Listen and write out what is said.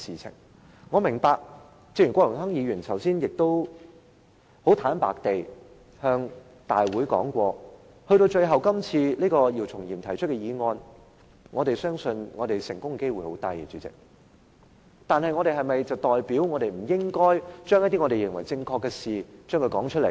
主席，正如郭榮鏗議員剛才很坦白說，我們相信姚松炎議員今次提出的議案成功的機會很低，但是否就代表我們不應該說出一些我們認為是正確的事情？